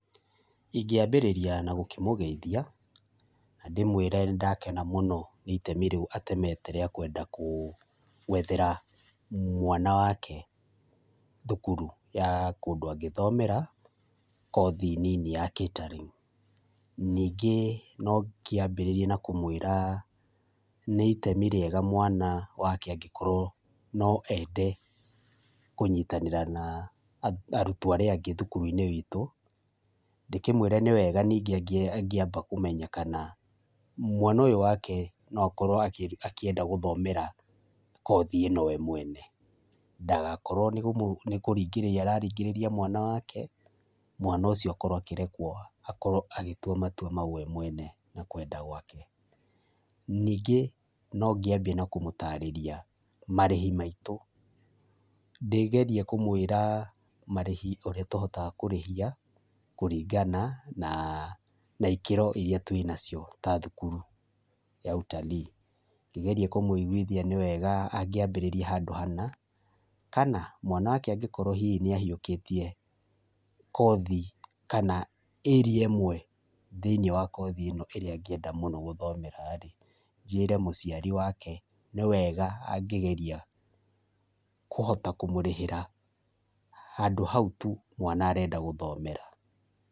Ingĩambĩrĩria na gũkĩmũgethia, na ndĩmwĩre nĩ ndakena mũno nĩ itemi rĩu atemete rĩa kwende kũ gwethera mwana wake thukuru ya kũndũ a ngĩthomera, kothi nini ya catering[csr], ningĩ no gĩambĩrĩrie na kũmwĩra, nĩ itemi rĩega mwana wake angĩkorwo no ende kũnyitanĩra na a arutwo arĩa angĩ thukuru - inĩ witu, ndĩkĩmwĩre nĩ wega ningĩ angĩamba kũmenya kana mwana ũyũ wake no akorwo akĩenda gũthomera kothi ino we mwene, ndagakorwo nĩ kũmũ nĩkũringĩrĩria mwana wake, mwana ũcio akorwo akĩrekwo akorwo a gĩtwa matwa mau we mwene, na kwenda gwake, ningĩ no ngĩambie na kũmũtarĩria marĩhi maitũ, ndĩgerie kũmwĩra marĩhi ũria tohotaga kũrĩhia, kũringana na ikĩro iria twina cio ta thukuru ya ũtalii, ngĩgeria kũmwĩiguithia nĩ wega angĩambĩrĩria handũ hana, kana mwana wake angĩkorwo hihi nĩ ahiũkĩtie kothi kana ĩrĩa ĩmwe thĩniĩ wa kothi ino ĩrĩa angĩenda gũthomeraĩ, njĩre mũciari wega nĩ wega angĩgeria kũhota kũmũrĩhĩra, handũ hau tu mwana arenda gũthomera.